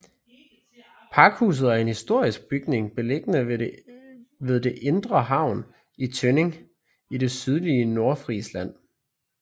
Pakhuset er en historisk bygning beliggende ved det indre havn i Tønning i det sydlige Nordfrisland